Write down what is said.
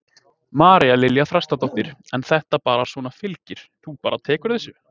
María Lilja Þrastardóttir: En þetta bara svona fylgir, þú bara tekur þessu?